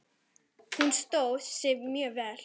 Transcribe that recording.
Hún stóð sig mjög vel.